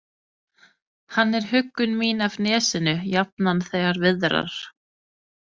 Hann er huggun mín af nesinu, jafnan þegar viðrar.